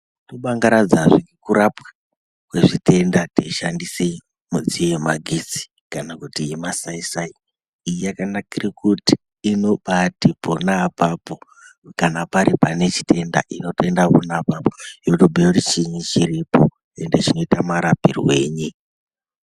Tobangaradzazve kurapwa kwezvitenda teishandise midziyo yemagetsi kana kuti yemasaisai iyi yakanakire kuti inobati pona apapo kana pari pane chitenda inotoenda pona apapo yotobhuya kuti chiinyi chiripo ende chinoita marapirwenyi.